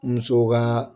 Musow ka